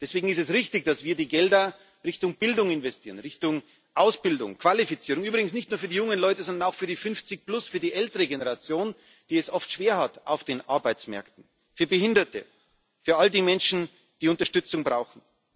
Deswegen ist es richtig, dass wir die Gelder Richtung Bildung investieren, Richtung Ausbildung, Qualifizierung übrigens nicht nur für die jungen Leute sondern auch für die 50, für die ältere Generation, die es oft schwer hat auf den Arbeitsmärkten, für Behinderte, für all die Menschen, die Unterstützung brauchen.